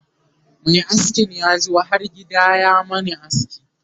Mai askin yazo har gida ya Mani aski